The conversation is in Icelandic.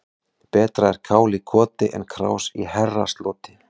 Betra er kál í koti en krás í herrasloti.